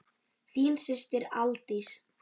Þín systir, Aldís.